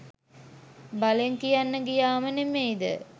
බලෙන් කියන්න ගියාම නෙමෙයිද?